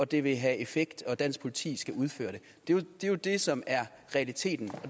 det vil have effekt og dansk politi skal udføre det det er jo det som er realiteten